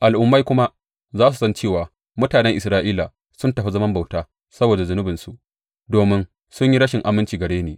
Al’ummai kuma za su san cewa mutanen Isra’ila sun tafi zaman bauta saboda zunubinsu, domin sun yi rashin aminci gare ni.